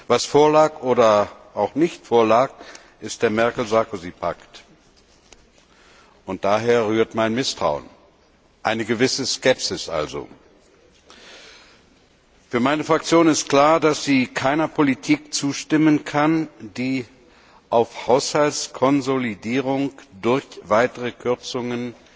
Was vorlag oder auch nicht, ist der Merkel Sarkozy Pakt. Daher rühren mein Misstrauen und eine gewisse Skepsis. Für meine Fraktion ist klar, dass sie keiner Politik zustimmen kann, die auf Haushaltskonsolidierung durch weitere Kürzungen